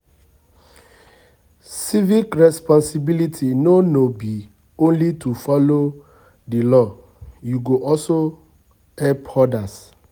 Civic responsibility no no be only to follow di law, you go also help others